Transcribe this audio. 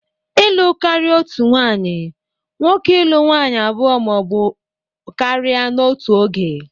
Ịlụ karịa otu nwanyị nwoke ịlụ nwaanyị abụọ ma ọ bụ karịa n'otu oge.